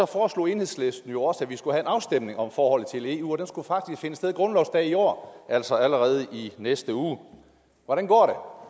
foreslog enhedslisten jo også at vi skulle have en afstemning om forholdet til eu og den skulle faktisk finde sted grundlovsdag i år altså allerede i næste uge hvordan går